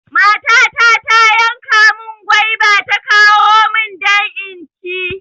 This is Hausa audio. Matata ta yanka mun gwaiba ta kawo mun don inci